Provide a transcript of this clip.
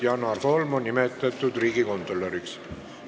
Janar Holm on nimetatud riigikontrolöriks.